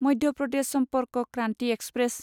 Madhya Pradesh Sampark Kranti express